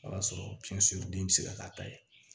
O y'a sɔrɔ den bɛ se ka k'a ta ye